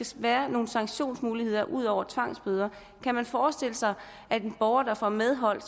skal være nogle sanktionsmuligheder ud over tvangsbøder kan man forestille sig at en borger der får medhold